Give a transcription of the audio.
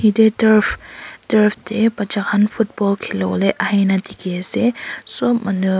etu turf te batcha khan football khela bole ahena dekhi ase sob manu--